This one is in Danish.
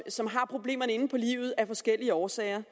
som har problemerne inde på livet af forskellige årsager